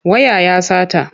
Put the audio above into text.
Waya ya sata.